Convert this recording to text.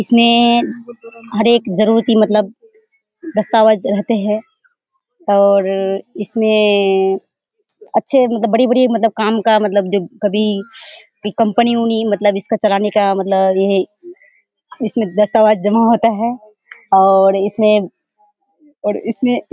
इसमें हर एक जरुरति मतलब दस्तावेज रहते है और इसमें अच्छे मतलब बड़ी-बड़ी काम का मतलब कभी कंपनी मतलब इसके चलाने का मतलब यह है इसमें दस्तावेज जमा होता है और इसमें और इसमें --